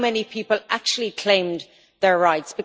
How many people actually claimed their rights?